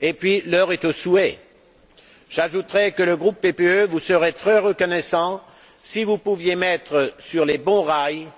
Et puisque l'heure est aux souhaits, j'ajouterai que le groupe PPE vous serait très reconnaissant si vous pouviez mettre sur de bons rails